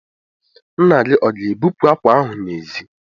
Nna gị ọ ga-ebupu àkwà ahụ n'èzí?